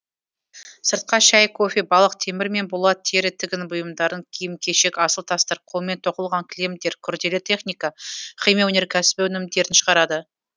сыртқа шай кофе балық темір мен болат тері тігін бұйымдарын киім кешек асыл тастар қолмен тоқылған кілемдер күрделі техника химия өнеркәсібі өнімдерін шығарады